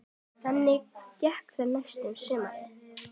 Þannig gekk það næstu sumrin.